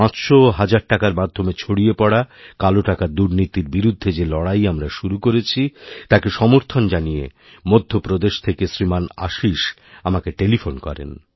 পাঁচশো ওহাজার টাকার মাধ্যমে ছড়িয়ে পড়া কালো টাকার দুর্নীতির বিরুদ্ধে যে লড়াই আমরা শুরুকরেছি তাকে সমর্থন জানিয়ে মধ্যপ্রদেশ থেকে শ্রীমান আশীষ আমাকে টেলিফোন করেন